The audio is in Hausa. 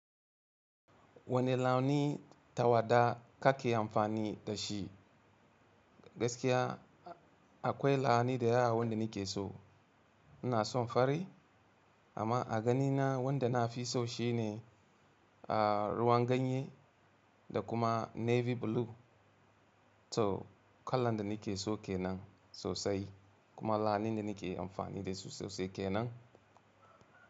Wane launi tawada ka ke amfani da shi? Gaskiya akwai launi da yawa wanda ni ke so. Ina son fari amma a ganina wanda na fi so shi ne a ruwan ganye da kuma navy blue. To kallan da ni ke so kenan sosai kuma launi da ni ke amfani da su sosai kenan.